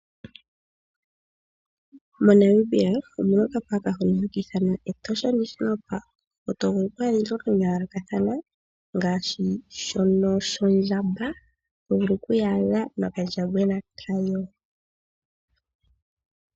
MoNamibia omuna okapark hono haka ithanwa Etosha national park. Omuna iinamwenyo yayoolokathana ngaashi ondjamba toyaadha nokandjambwena kayo.